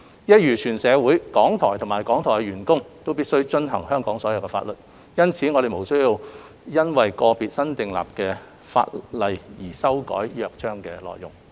一如全社會，港台及港台員工都必須遵守所有香港法律，因此我們並無需要因為個別新訂立的法例而修改《約章》的內容。